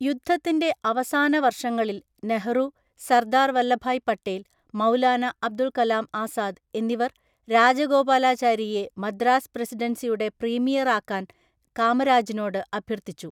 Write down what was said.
യുദ്ധത്തിന്റെ അവസാന വർഷങ്ങളിൽ നെഹ്‌റു, സർദാർ വല്ലഭായ് പട്ടേൽ, മൗലാന അബുൽ കലാം ആസാദ് എന്നിവർ രാജഗോപാലാചാരിയെ മദ്രാസ് പ്രസിഡൻസിയുടെ പ്രീമിയറായാക്കാൻ കാമരാജിനോട് അഭ്യർത്ഥിച്ചു.